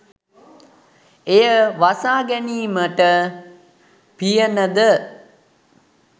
එය වසා ගැනීමට පියනද,